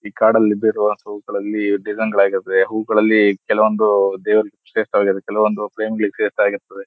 ಈ ಕಾಡಲ್ಲಿ ಡಿಸೈನ್ ಗಳಾಗಿರುತದೆ ಹೂವುಗಳಲ್ಲಿ ಕೆಲವೊಂದು ದೇವ್ರಿಗೆ ಕೆಲವೊಂದು